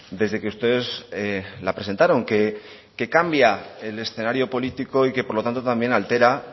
desde que ustedes la presentaron que cambia el escenario político y que por lo tanto también altera